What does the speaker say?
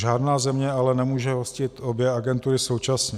Žádná země ale nemůže hostit obě agentury současně.